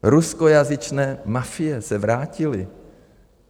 Ruskojazyčné mafie se vrátily.